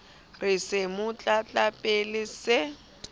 re se mo tlatlapile se